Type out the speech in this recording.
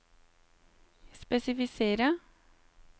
spesifisere